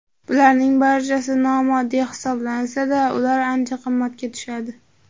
Bularning barchasi nomoddiy hisoblansa-da, ular ancha qimmatga tushadi.